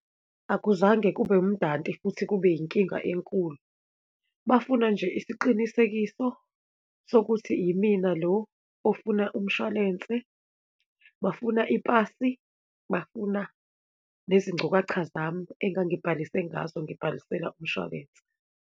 Akuzange kube umdanti futhi kube yinkinga enkulu. Bafuna nje isiqinisekiso sokuthi imina lo ofuna umshwalense, bafuna ipasi, bafuna nezingcukacha zami engangibhalise ngazo, ngibhalisela umshwalense.